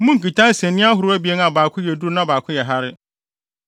Monnkita nsania ahorow abien a baako yɛ duru na baako yɛ hare.